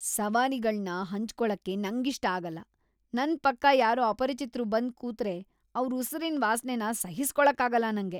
ಸವಾರಿಗಳ್ನ ಹಂಚ್ಕೊಳಕ್ಕೆ ನಂಗಿಷ್ಟ ಆಗಲ್ಲ. ನನ್‌ ಪಕ್ಕ ಯಾರೋ ಅಪರಿಚಿತ್ರು ಬಂದ್ ಕೂತ್ರೆ ಅವ್ರ್‌ ಉಸಿರಿನ್‌ ವಾಸ್ನೆನ ಸಹಿಸ್ಕೊಳಕ್ಕಾಗಲ್ಲ ನಂಗೆ.